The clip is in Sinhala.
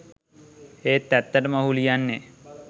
ඒත් ඇත්තටම ඔහු ලියන්නෙ.